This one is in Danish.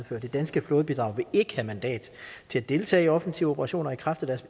før det danske flådebidrag vil ikke have mandat til at deltage i offensive operationer i kraft